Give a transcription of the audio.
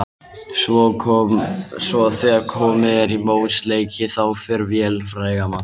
Svo þegar komið er í mótsleiki þá fer vélin fræga að malla.